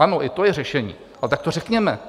Ano, i to je řešení, ale tak to řekněme.